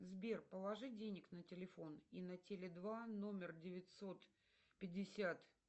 сбер положи денег на телефон и на теле два номер девятьсот пятьдесят